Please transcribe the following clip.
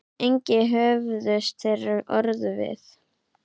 Engi höfðust þeir orð við.